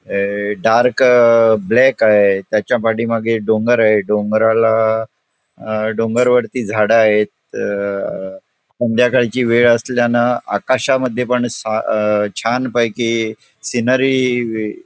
हे dark black आहे त्याच्या पाठीमागे डोंगर आहे डोंगराला अं डोंगर वरती झाडं आहेत त संध्याकाळची वेळ असल्यानं आकाशामध्ये पण सा छान पैकी सिनरी --